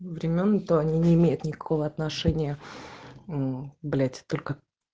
времён то они не имеют никакого отношения мм блять только